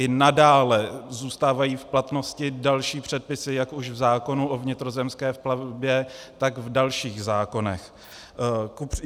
I nadále zůstávají v platnosti další předpisy, jak už v zákonu o vnitrozemské plavbě, tak v dalších zákonech.